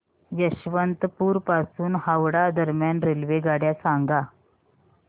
यशवंतपुर पासून हावडा दरम्यान रेल्वेगाड्या सांगा